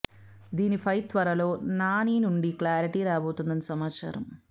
దీని ఫై త్వరలో నాని నుండి క్లారిటీ రాబోతుందని సమాచారం